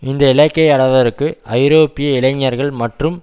இந்த இலக்கை அடைவதற்கு ஐரோப்பிய இளைஞர்கள் மற்றும்